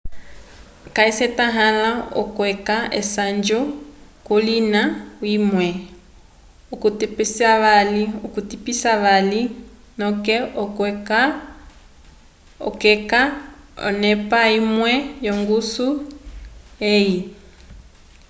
ca syetahala okweca esanju ko kolina imwe okutepisavali noke okweca onepa imwe yo ngusu eyi